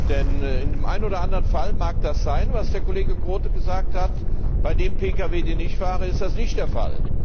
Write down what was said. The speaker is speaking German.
Denn in dem einen oder anderen Fall mag das stimmen, was der Kollege Groote gesagt hat. Bei dem Pkw, den ich fahre, ist das nicht der Fall.